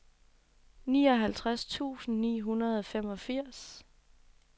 nioghalvtreds tusind ni hundrede og femogfirs